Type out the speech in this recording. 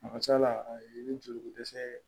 A ka ca la a ye joliko dɛsɛ ye